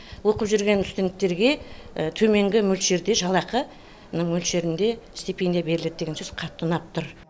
оқып жүрген студенттерге төменгі мөлшерде жалақы мөлшерінде стипендия беріледі деген сөз қатты ұнап тұр